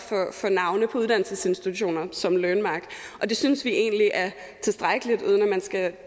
for navne på uddannelsesinstitutioner såsom learnmark og det synes vi egentlig er tilstrækkeligt uden at man skal